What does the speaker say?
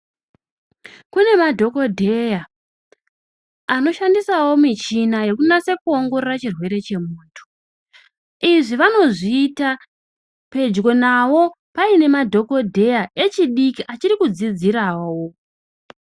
Kune madhokodheya anoshandisawo michina yekunasa kuongorora chirwere chemuntu, izvi vanozviyita pedyo navo payine madhokodheya echidiki achiri kudzidzirawo.